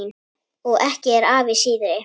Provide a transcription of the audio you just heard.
Og ekki er afi síðri.